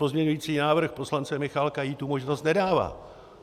Pozměňovací návrh poslance Michálka jí tu možnost nedává.